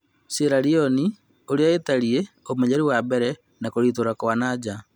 Sieraloni ũrĩa ĩtarie, ũmenyeru wambere, na kũritũha kwa nanja ?